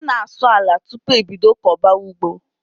A na asụ àlà tupu e bídó koba ụgbọ